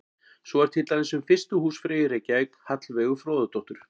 Svo er til dæmis um fyrstu húsfreyju í Reykjavík, Hallveigu Fróðadóttur.